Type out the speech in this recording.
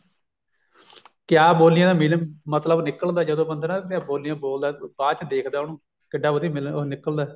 ਕਿਆ ਬੋਲੀਆਂ ਦਾ ਵੀ ਮਤਲਬ ਨਿਕਲਦਾ ਜਦੋਂ ਬੰਦਾ ਨਾ ਬੋਲੀਆ ਬੋਲਦਾ ਬਾਅਦ ਚ ਦੇਖਦਾ ਉਹਨੂੰ ਕਿੱਡਾ ਵਧੀਆ ਉਹ ਨਿਕਲਦਾ